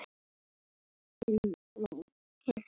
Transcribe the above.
Lillý: Heyrið þið ekki neitt?